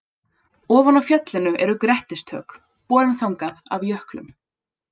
Ofan á fjallinu eru grettistök, borin þangað af jöklum.